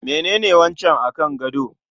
Menene wancan akan gado?